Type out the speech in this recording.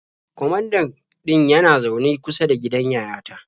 Kwamandan ɗin yana zaune kusa da gidan yayata.